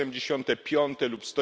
175. lub